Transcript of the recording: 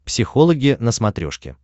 психологи на смотрешке